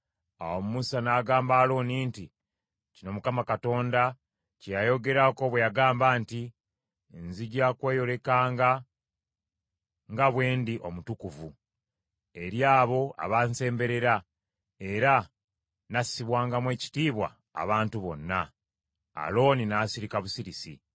Awo Musa n’agamba Alooni nti, Kino Mukama Katonda kye yayogerako bwe yagamba nti, “ ‘Nzija kweyolekanga nga bwe ndi omutukuvu eri abo abansemberera, era nassibwangamu ekitiibwa abantu bonna.’ ” Alooni n’asirika busirisi.